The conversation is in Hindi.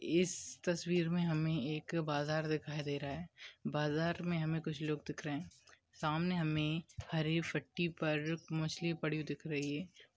इस तस्वीर में हमें एक बाजार दिखाई दे रहा है बाजार में हमें कुछ लोग दिख रहे हैं सामने हमें हरी पट्टी पर मछली पड़ी हुई दिख रही है।